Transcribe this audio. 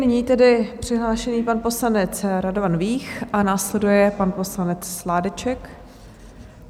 Nyní tedy přihlášený pan poslanec Radovan Vích a následuje pan poslanec Sládeček.